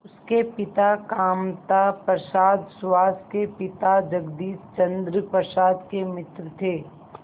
उसके पिता कामता प्रसाद सुहास के पिता जगदीश चंद्र प्रसाद के मित्र थे